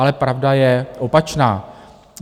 Ale pravda je opačná.